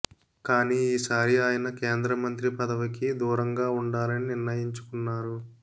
కానీ ఈసారి ఆయన కేంద్ర మంత్రి పదవికి దూరంగా ఉండాలని నిర్ణయించుకున్నారు